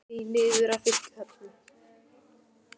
Hann gekk því niður að fiskihöfn.